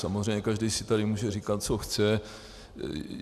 Samozřejmě každý si tady může říkat, co chce.